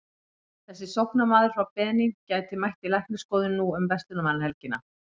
Þessi sóknarmaður frá Benín gæti mætt í læknisskoðun nú um verslunarmannahelgina.